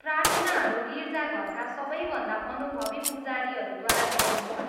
प्रार्थनाहरू गिर्जाघरका सबैभन्दा अनुभवी पुजारीहरूद्वारा गरिन्छ।